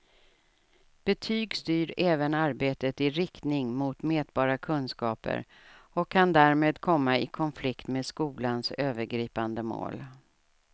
Betyg styr även arbetet i riktning mot mätbara kunskaper och kan därmed komma i konflikt med skolans övergripande mål.